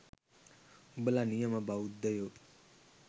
උඹල නියම බෞද්ධයෝ